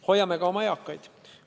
Hoiame ka oma eakaid.